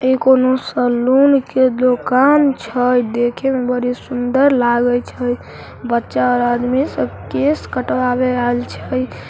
ए कोनो सैलून के दुकान छै देखे में बड़ा सुन्दर लगाय छै बच्चा और आदमी सब कैश कटवावे आऐल छै।